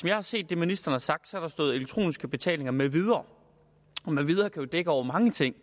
jeg har set det ministeren har sagt har der stået elektroniske betalinger med videre og med videre kan jo dække over mange ting